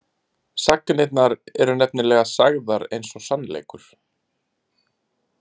Sagnirnar eru nefnilega sagðar eins og sannleikur.